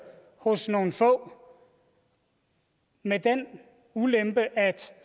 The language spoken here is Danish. hos nogle få med den ulempe at